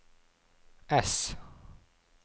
S